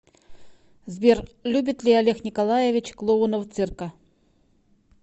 сбер любит ли олег николаевич клоунов цирка